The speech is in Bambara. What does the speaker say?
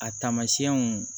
A taamasiyɛnw